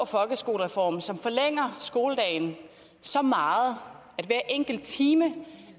folkeskolereform som forlænger skoledagen så meget at hver enkelt time